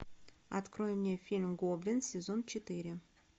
открой мне фильм гоблин сезон четыре